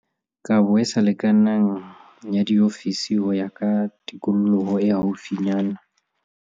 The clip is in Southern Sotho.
Kabo e sa lekanang ya diofisi ho ya ka tikoloho e haufinyana